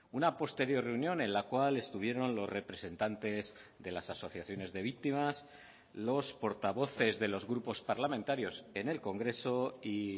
una posterior reunión en la cual estuvieron los representantes de las asociaciones de víctimas los portavoces de los grupos parlamentarios en el congreso y